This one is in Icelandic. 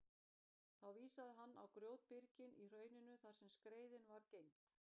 Þá vísaði hann á grjótbyrgin í hrauninu þar sem skreiðin var geymd.